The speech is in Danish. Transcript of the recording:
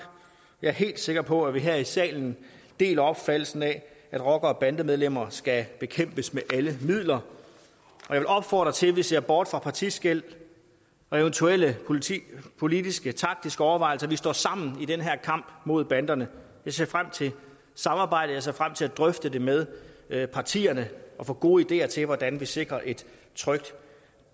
jeg er helt sikker på at vi her i salen deler opfattelsen af at rockere og bandemedlemmer skal bekæmpes med alle midler jeg vil opfordre til at vi ser bort fra partiskel og eventuelle politiske politiske taktiske overvejelser vi står sammen i den her kamp mod banderne jeg ser frem til samarbejdet jeg ser frem til at drøfte det med med partierne og få gode ideer til hvordan vi sikrer et trygt